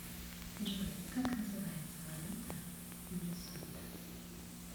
джой как называется валюта в лесото